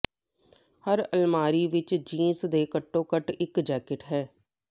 ਹਰ ਅਲਮਾਰੀ ਵਿਚ ਜੀਨਸ ਦੇ ਘੱਟੋ ਘੱਟ ਇਕ ਜੈਕਟ ਹੈ